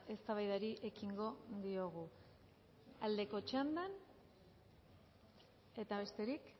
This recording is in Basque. eztabaidari ekingo diogu aldeko txandan eta besterik